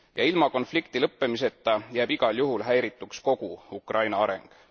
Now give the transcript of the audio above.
Ilma konflikti lõppemiseta jääb igal juhul häirituks kogu Ukraina areng.